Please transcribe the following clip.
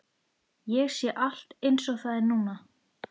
Ég sé allt einsog það er núna.